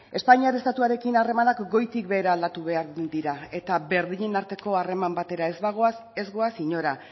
espainiar estatuarekin harremanak goitik behera aldatu behar dira eta berdinen arteko harreman batera ez bagoaz ez goaz inora